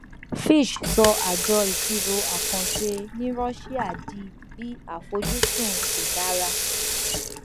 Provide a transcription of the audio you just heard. fitch sọ àjọ ìṣirò àkànṣe ní rọṣíà di bi àfojúsùn kò dára